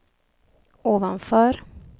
ovanför